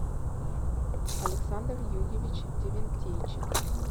александр юрьевич девентейчик